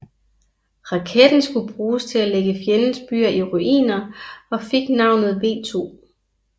Raketten skulle bruges til at lægge fjendens byer i ruiner og fik navnet V2